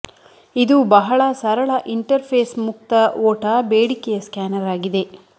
ಇದು ಬಹಳ ಸರಳ ಇಂಟರ್ಫೇಸ್ ಮುಕ್ತ ಓಟ ಬೇಡಿಕೆಯ ಸ್ಕ್ಯಾನರ್ ಆಗಿದೆ